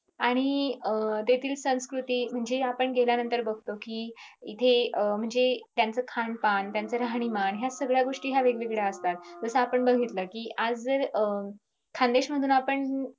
आणि अं तेथील संस्कृती म्हणजे आपण गेल्यानंतर बगतो कि इथे म्हणजे अं त्यांचं खानदान त्यांचं राहणीमान ह्या सगळ्यागोस्टी वेगवेगळ्या असतात जस आपण बघितलं कि आज जर अं